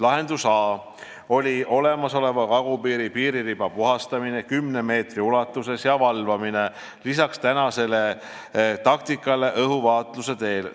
Lahendus A: olemasoleva kagupiiri piiririba puhastamine kümne meetri ulatuses ja valvamine lisaks tänasele taktikale õhuvaatluse teel.